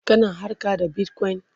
kana harka da Bitcoin?